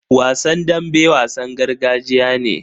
Wasan dambe wasan gargajiya ne.